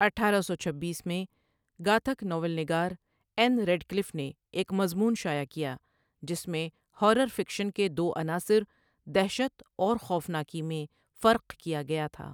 اٹھارہ سو چھبیس میں، گاتھک ناول نگار این ریڈکلف نے ایک مضمون شائع کیا جس میں ہارر فکشن کے دو عناصر 'دہشت' اور 'خوفناکی' میں فرق کیا گیا تھا۔